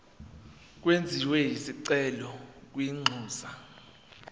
kwenziwe isicelo kwinxusa